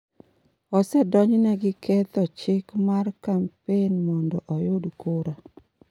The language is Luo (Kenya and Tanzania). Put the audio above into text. Osedonjone gi ketho chik mar kampen mondo oyud kura.